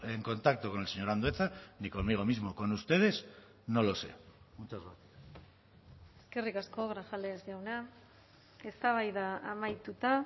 en contacto con el señor andueza ni conmigo mismo con ustedes no lo sé muchas gracias eskerrik asko grajales jauna eztabaida amaituta